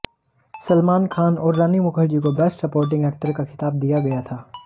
सलमान खान और रानी मुखर्जी को best supporting actor का खिताब दिया गया था